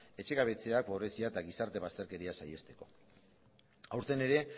etxe gabetzea pobretzea eta gizarte bazterkeria saihesteko aurten ere